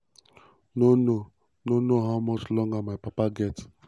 "no know "no know how much longer my papa get."